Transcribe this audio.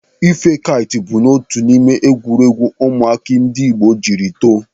Ife kait bụ otu n'ime egwuregwu ụmụaka ndị Igbo jiri too